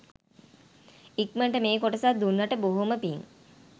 ඉක්මනට මේ කොටසත් දුන්නට බොහොම පින්